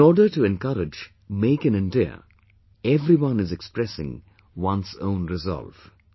In order to encourage "Make in India" everyone is expressing one's own resolve